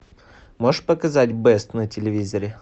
можешь показать бест на телевизоре